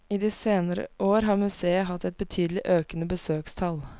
I de seinere år har museet hatt et betydelig økende besøkstall.